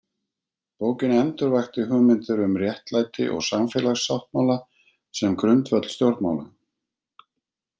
Bókin endurvakti hugmyndir um réttlæti og samfélagssáttmála sem grundvöll stjórnmála.